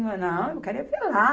Não, Não, eu quero é ver lá.